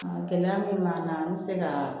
Gɛlɛya min b'an kan an be se ka